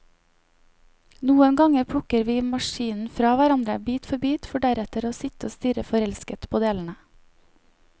Noen ganger plukker vi maskinen fra hverandre, bit for bit, for deretter å sitte og stirre forelsket på delene.